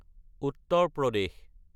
Uttar Pradesh